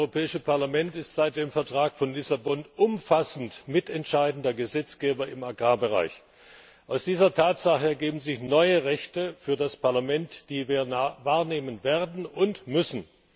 Das Europäische Parlament ist seit dem Vertrag von Lissabon umfassend mitentscheidender Gesetzgeber im Agrarbereich. Aus dieser Tatsache ergeben sich neue Rechte für das Parlament, die wir wahrnehmen werden und müssen.